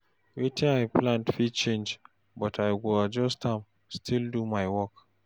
Wetin I plan fit change, but I go adjust am, still do my work.